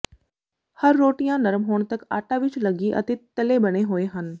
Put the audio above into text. ਹਰ ਰੋਟੀਆਂ ਨਰਮ ਹੋਣ ਤੱਕ ਆਟਾ ਵਿੱਚ ਲਗੀ ਅਤੇ ਤਲੇ ਬਣੇ ਹੋਏ ਹਨ